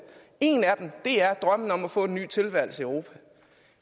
en af dem er drømmen om at få en ny tilværelse i europa